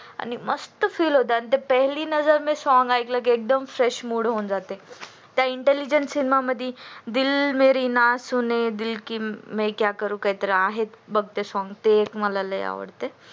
आणि मस्त feel होत आणि ते पेहेली नजर मे song ऐकल की एकदम फ्रेश मूड होऊन जाते त्या इंटेलिनजा फिल्म मधी दिल मेरी ना सूणे दिल की मे क्या सूनु करू आहेत बघ काय तरी song ते एक मला लई आवडते